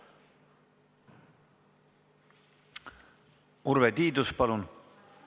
Urve Tiidus, palun!